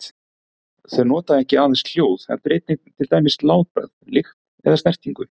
Þau nota ekki aðeins hljóð heldur einnig til dæmis látbragð, lykt eða snertingu.